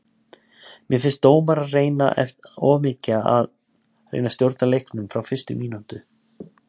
Mér finnst dómarar reyna of mikið að reyna að stjórna leiknum frá fyrstu mínútu.